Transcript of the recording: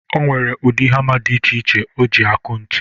O nwere ụdị hama dị iche iche o ji aku ntu.